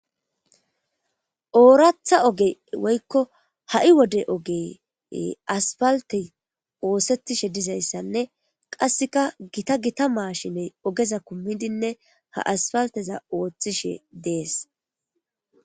ooratha oge woykko ha7i wode oge asfalte oosettishe dizayssanne qasseka gita gita maashiney ogeza kummidinne ha asfalteza ooththishe dees